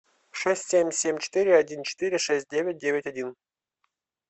шесть семь семь четыре один четыре шесть девять девять один